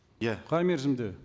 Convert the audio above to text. иә қай мерзімде